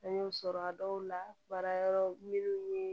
Fɛn y'o sɔrɔ a dɔw la baara yɔrɔ minnu ye